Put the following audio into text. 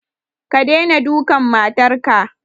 Ka daina dukan matar ka!